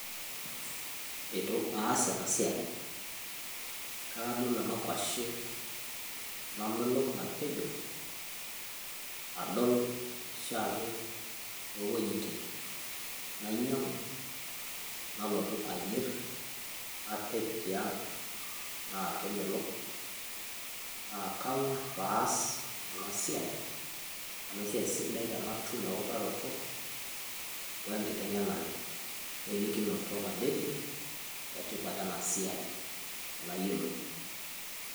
eitu aas ena siai kake adol ena kwashe, namelok napejo..nadol oshiake too wuejitin, nainyiangu, nalotua ayier tiang napej. naa kemelok. naa kang'uar pee aas ena siia amu esiai sidai tenatum eutaroto, we nktengenare we likinoto, nadede etipat ena siai tenayiolou.